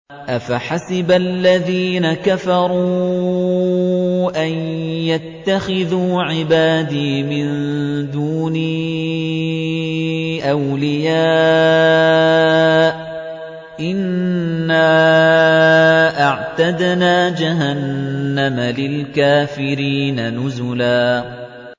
أَفَحَسِبَ الَّذِينَ كَفَرُوا أَن يَتَّخِذُوا عِبَادِي مِن دُونِي أَوْلِيَاءَ ۚ إِنَّا أَعْتَدْنَا جَهَنَّمَ لِلْكَافِرِينَ نُزُلًا